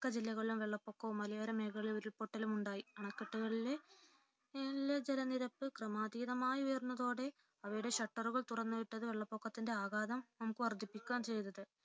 മിക്ക ജില്ലകളിലും വെള്ളപ്പൊക്കവും മലയോരമേഖലകളിൽ ഉരുൾപൊട്ടൽ ഉണ്ടായി അണകെട്ടുകളിലെ ജലനിരപ്പ് ക്രമാതീതമായി ഉയർന്നതോടെ അവയുടെ ഷട്ടറുകൾ തുറന്നുവിട്ടത് വെള്ളപൊക്കത്തിന്റെ ആഘാതം നമുക്ക് വർധിപ്പിക്കുകയാണ് ചെയ്തത്